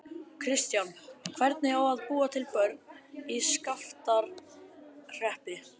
Kristján: Hvernig á að búa til börn í Skaftárhreppi?